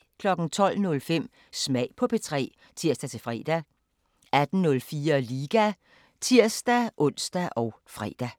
12:05: Smag på P3 (tir-fre) 18:04: Liga (tir-ons og fre)